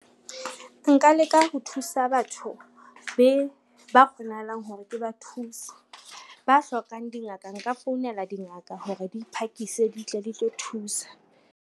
Nka leka ho thusa batho ba kgonahalang hore ke ba thuse. Ba hlokang dingaka, nka founela dingaka hore di phakise di tle di tlo thusa.